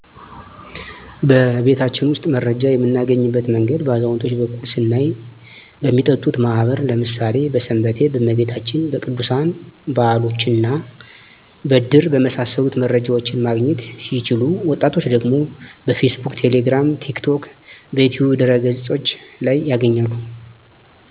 በቤታችን ውስጥ መረጃ የምናገኝበት መንገድ በአዛውንቶች በኩል ስናይ በሚጠጡት ማህበር ለምሣሌ በስንበቴ፣ በመቤታችን፣ በቅዱሣን በዓሎችና በድር በመሣሰሉት መረጃዎችን ማግኘት ሲችሉ ወጣቶች ደግሞ በፌስቡክ፣ ቴሌግራም፣ ቲክቶክ፣ በዩትዩብ ድህረ ገፆች ላይ ያገኛሉ።